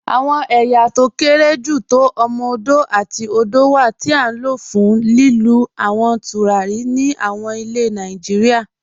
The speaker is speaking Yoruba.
Awọn èyá tó kéré jù tó òdò àti òmò-òdò wà ti a n lọ̀ fún lílú àwọn tùràrí ní àwọn ilẹ̀ Nàìjíríà.